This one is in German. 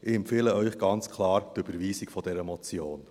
Ich empfehle Ihnen ganz klar die Überweisung dieser Motion.